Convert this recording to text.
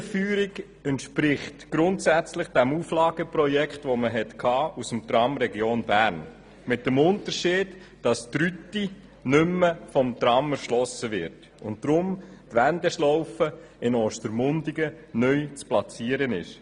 Die Linienführung entspricht grundsätzlich dem Auflageprojekt für das Tram Region Bern, jedoch mit dem Unterschied, dass die Rüti nicht mehr mit dem Tram erschlossen wird und deshalb die Wendeschlaufe in Ostermundigen neu zu platzieren ist.